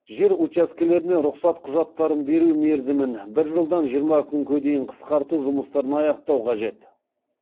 жер учаскелеріне рұқсат құжаттарын беру мерзімін бір жылдан жиырма күнге дейін қысқарту жұмыстарын аяқтау қажет